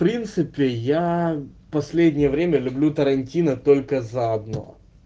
в принципе я последнее время люблю тарантино только за одно